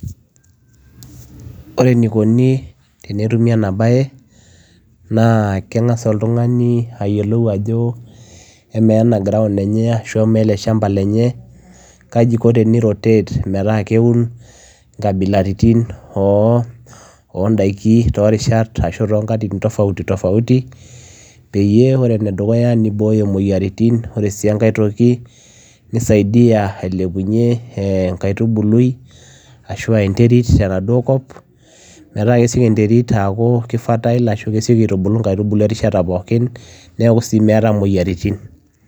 Ore eninko tenetumii enaa bayee naa kengas oltunganii ayiolou ajo emaa ena ground shamba kajii iko teni rotate metaa keun nkabilaritin oo ntaikin toorishat tofautiti tofautiti peyiee iboyoo imoyiaritin oree enkae nisaidia atubulu enkaitubului ashua enderit tenaduoo kop metaa kesiokii enderit aitubulu nkaitubuluu erishata pookin